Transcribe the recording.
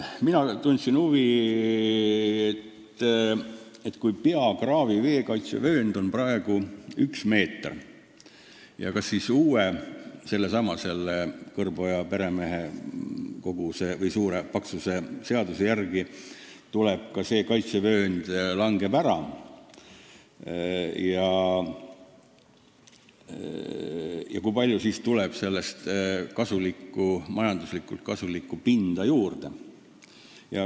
Mina tundsin huvi, et kui peakraavi veekaitsevöönd on praegu üks meeter, kas siis uue, sellesama "Kõrboja peremehe" paksuse seaduse järgi see kaitsevöönd langeb ära ja kui langeb, siis kui palju tuleb sellest majanduslikult kasulikku pinda juurde.